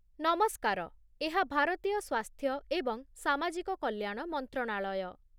ନମସ୍କାର! ଏହା ଭାରତୀୟ ସ୍ୱାସ୍ଥ୍ୟ ଏବଂ ସାମାଜିକ କଲ୍ୟାଣ ମନ୍ତ୍ରଣାଳୟ।